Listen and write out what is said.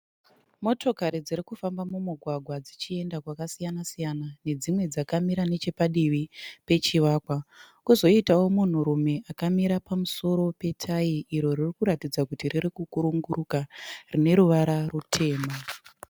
Motokari dzirikufamba mumugwagwa dzichienda kwakasiyana siyana. Nedzimwe dzakamira nechepadivi pechivakwa. kozoitawo munhurume akamira pamusoro pe tayi iro riri kuratidza kuti riri kukunguruka rine ruvara rutema.